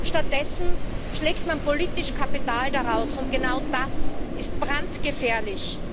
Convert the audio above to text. Stattdessen schlägt man politisch Kapital daraus, und genau das ist brandgefährlich.